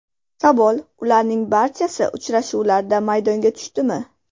Savol: Ularning barchasi uchrashuvlarda maydonga tushdimi?